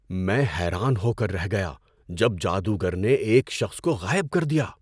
میں حیران ہو کر رہ گیا جب جادوگر نے ایک شخص کو غائب کر دیا!